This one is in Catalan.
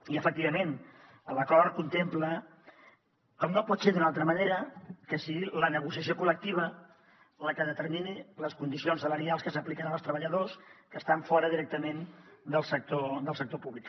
i efectivament l’acord contempla com no pot ser d’una altra manera que sigui la negociació col·lectiva la que determini les condicions salarials que s’apliquen als treballadors que estan fora directament del sector públic